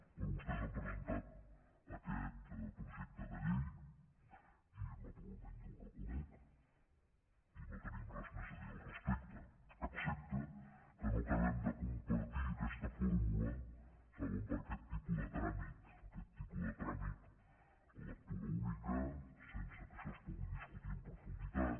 però vostès han presentat aquest projecte de llei i naturalment jo ho reconec i no tenim res més a dir al respecte excepte que no acabem de compartir aquesta fórmula saben per aquest tipus de tràmit aquest tipus de tràmit en lectura única sense que això es pugui discutir amb profunditat